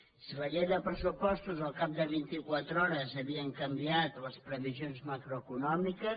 si en la llei de pressupostos al cap de vinti quatre hores havien canviat les previsions macroeconòmiques